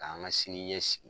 K'an ka sini ɲɛsigi.